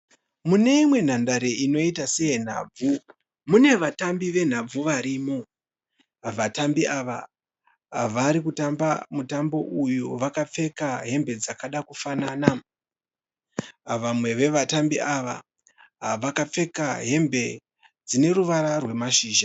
Mune imwe nhandare inoita seye nhabvu, mune vatambi venhabvu varimo. Vatambi ava vari kutamba mutambo uyu vakapfeka hembe dzakada kufanana. Vamwe vevatambi ava vakapfeka hembe dzine ruvara rwemashizha.